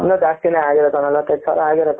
ಇನ್ನು ಜಾಸ್ತಿನೆ ಅಗಿರುತೆ ಒಂದು ನಲವತು ಐದು ಸಾವಿರ ಅಗಿರುತೆ ,